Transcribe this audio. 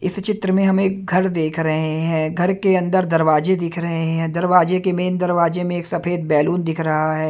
इस चित्र में हम एक घर देख रहे हैं घर के अंदर दरवाजे दिख रहे हैं दरवाजे के मेन दरवाजे में एक सफेद बैलून दिख रहा है।